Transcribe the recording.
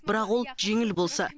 бірақ ол жеңіл болса